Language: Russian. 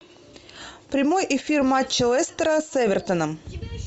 прямой эфир матча лестера с эвертоном